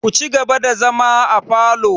Ku ci gaba da zama afalo!